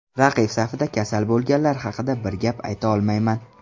Raqib safida kasal bo‘lganlar haqida bir gap ayta olmayman.